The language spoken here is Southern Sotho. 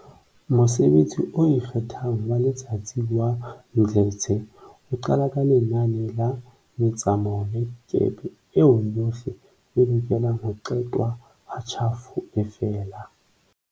Mosebetsi o ikgethang wa letsatsi wa Mdletshe o qala ka lenane la metsamao ya dikepe eo yohle e lokelang ho qetwa ha tjhafo e fela.